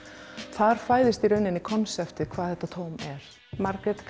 þar fæðist konseptið hvað þetta tóm er Margrét